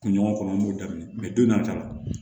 Kun ɲɔgɔn kɔnɔ n b'o daminɛ donna ka na